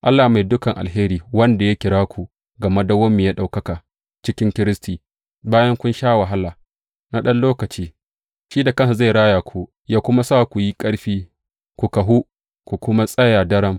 Allah mai dukan alheri, wanda ya kira ku ga madawwamiyar ɗaukaka cikin Kiristi, bayan kun sha wahala na ɗan lokaci, shi da kansa zai raya ku, yă kuma sa ku yi ƙarfi, ku kahu, ku kuma tsaya daram.